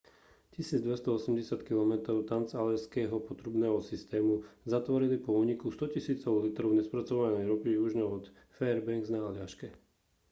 1280 km transaljašského potrubného systému zatvorili po úniku stotisícov litrov nespracovanej ropy južne od fairbanks na aljaške